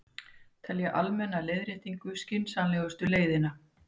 Telja almenna leiðréttingu skynsamlegustu leiðina